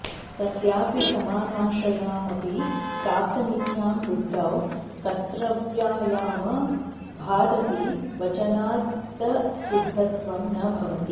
तस्यापि समानाश्रयायमपि साप्तमिक्यां वृद्धौ कत्र्तव्यायामा भादति वचनादसिद्धत्वं न भवति